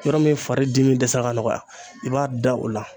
Yɔrɔ min fari dimi dɛsɛra ka nɔgɔya i b'a da o la